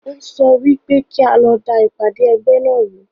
Ó sọ wípé kí a lọ da ìpàdé ẹgbẹ́ náà ru